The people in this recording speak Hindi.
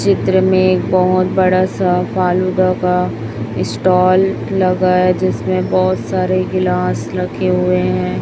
चित्र में एक बहोत बड़ा सा फालूदा का स्टाल लगा है जिसमें बहोत सारे गिलास रखे हुए हैं।